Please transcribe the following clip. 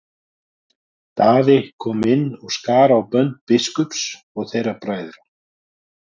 Daði kom inn og skar á bönd biskups og þeirra bræðra.